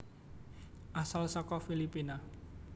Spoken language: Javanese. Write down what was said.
Asal saka Filipina